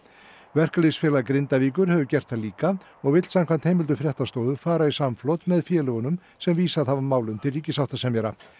verkalýðsfélag Grindavíkur hefur gert það líka og vill samkvæmt heimildum fréttastofu fara í samflot með félögunum sem vísað hafa málum til ríkissáttasemjara